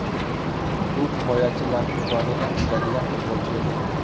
U himoyachilarning joniga tegadigan futbolchi edi.